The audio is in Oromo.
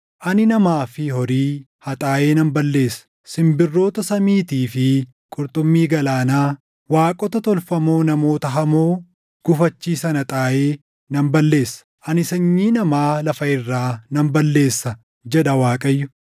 “Ani namaa fi horii haxaaʼee nan balleessa; simbirroota samiitii fi qurxummii galaanaa, waaqota tolfamoo namoota hamoo gufachiisan haxaaʼee nan balleessa.” “Ani sanyii namaa lafa irraa nan balleessa” jedha Waaqayyo.